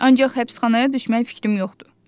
Ancaq həbsxanaya düşmək fikrim yoxdur.